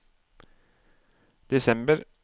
desember